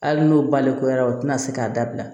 Hali n'o balekuyara o tɛna se k'a dabila